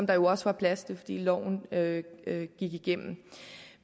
der jo også var plads til fordi loven gik igennem